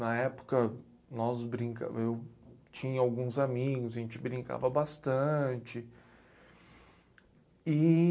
Na época, nós brincamos, eu tinha alguns amigos e a gente brincava bastante. E